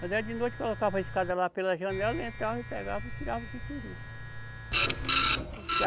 Quando era de noite, colocava a escada lá pela janela, entrava e pegava, tirava o que queriam.